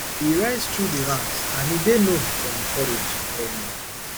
e rise through di ranks and e dey known for im courage um